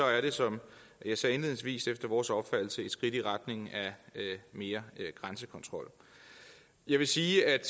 er det som jeg sagde indledningsvis efter vores opfattelse et skridt i retning af mere grænsekontrol jeg vil sige at